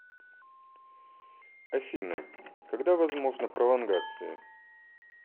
афина когда возможна пролонгация